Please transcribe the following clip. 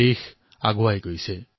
দেশ আগবাঢ়িয়েই আছে